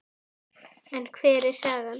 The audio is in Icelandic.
Hversu miklu máli skiptir það?